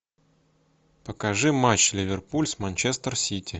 покажи матч ливерпуль с манчестер сити